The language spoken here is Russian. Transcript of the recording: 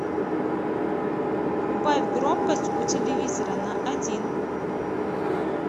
убавь громкость у телевизора на один